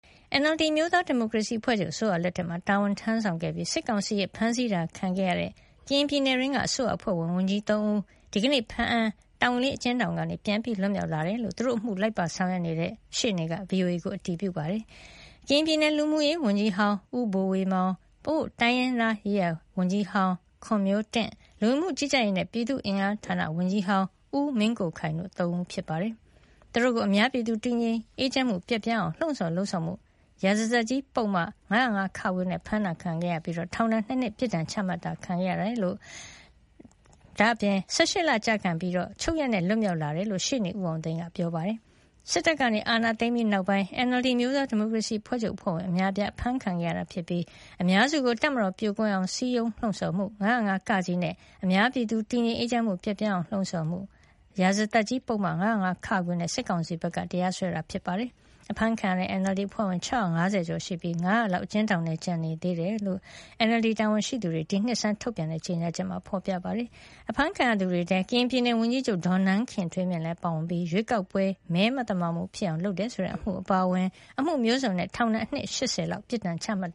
NLD အမျိုးသားဒီမိုကရေစီအဖွဲ့ချုပ် အစိုးရလက်ထက်မှာ တာဝန်ထမ်းခဲ့ပြီး၊ စစ်ကောင်စီရဲ့ ဖမ်းဆီးခံခဲ့ရတဲ့ ကရင်ပြည်နယ်အတွင်းက အစိုးရအဖွဲ့ဝင် ဝန်ကြီး ၃ ဦး ဒီကနေ့ ဘားအံ၊ တောင်ကလေး အကျဉ်းထောင်က ပြန်လည် လွတ်မြောက်လာတဲ့အကြောင်း သူတို့အမှုကို လိုက်ပါဆောင်ရွက်နေတဲ့ ရှေ့နေက VOA ကို အတည်ပြုပြောပါတယ်။ ကရင်ပြည်နယ် လူမှုရေးဝန်ကြီးဟောင်း ဦးဘိုဝေမောင်၊ ပအိုးဝ်း တိုင်းရင်းသားရေးရာဝန်ကြီးဟောင်း ခွန်မျိုးတင့်၊ လူဝင်မှုကြီးကြပ်ရေးနဲ့ ပြည်သူ့အင်အားဌာန ဝန်ကြီးဟောင်း ဦးမင်းကိုခိုင်တို့ ၃ ဦး ဖြစ်ပါတယ်။ သူတို့ကို အများပြည်သူ တည်ငြိမ်အေးချမ်းမှု ပျက်ပြားအောင် လှုံ့ဆော်၊ လုပ်ဆောင်မှု ရာဇသတ်ကြီး ပုဒ်မ ၅၀၅ နဲ့ ဖမ်းဆီးခဲ့ပြီး ထောင်ဒဏ် ၂ နှစ် ပြစ်ဒဏ် ချမှတ်ခံခဲ့ရတဲ့အကြောင်း၊ ၁၈ လကျခံပြီး ချုပ်ရက်နဲ့ လွတ်မြောက်လာတာ ဖြစ်တဲ့အကြောင်း ရှေ့နေ ဦးအောင်သိန်းက ပြောပါတယ်။ စစ်တပ်က အာဏာသိမ်ပြီးနောက်ပိုင်း NLD အမျိုးသားဒီုကရေစီအဖွဲ့ချုပ် အဖွဲ့ဝင် အများအပြား ဖမ်းဆီခံခဲ့ရပြီး အများစုကို တပ်မတော် ပြိုကွဲအောင် စည်းရုံးလှုံ့ဆော်မှု၊ ၅၀၅ နဲ့ အများပြည်သူ တည်ငြိမ် အေးချမ်းမှု ပျက်ပြားအောင် လှုံ့ဆော်၊ လုပ်ဆောင်မှု ရာဇသတ်ကြီး ပုဒ်မ ၅၀၅ တို့နဲ့ စစ်ကောင်စီဘက်က တရားစွဲဆိုခဲ့ပါတယ်။ အဖမ်းခံရတဲ့ NLD အဖွဲ့ဝင် ၆၅၀ ကျော် ရှိပြီး ၅၀၀ လောက် အကျဉ်းထောင်ထဲမှာ ကျန်နေသေးတဲ့အကြောင်း NLD တာဝန်ရှိသူတွေ ဒီနှစ်ဆန်းက ထုတ်ပြန်တဲ့ ကြေညာချက်မှာ ဖော်ပြပါတယ်။ အဖမ်းခံရသူတွေထဲမှာ ကရင်ပြည်နယ်ဝန်ကြီးချုပ် ဒေါ်နန်းခင်ထွေးမြင့်လည်း ပါဝင်ပြီး၊ ရွေးကောက်ပွဲမှာ မဲမသမာမှုဖြစ်အောင် လုပ်ဆောင်တယ်ဆိုတဲ့ အမှုအပါအဝင် အမှုမျိုးစုံနဲ့ ထောင်ဒဏ်နှစ် ၈၀ လောက် ပြစ်ဒဏ်ချမှတ်